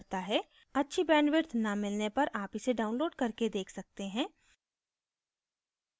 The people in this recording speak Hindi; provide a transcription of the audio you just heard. अच्छी bandwidth न मिलने पर आप इसे download करके देख सकते हैं